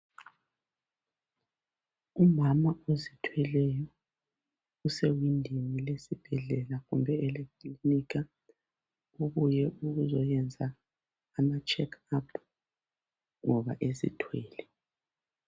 Umama ozithweleyo usewindini lesibhedlela kumbe elekilinika ubuye ukuzohlolwa ngoba ezithwele.